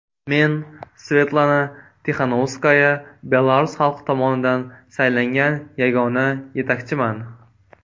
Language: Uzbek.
Men, Svetlana Tixanovskaya, belarus xalqi tomonidan saylangan yagona yetakchiman.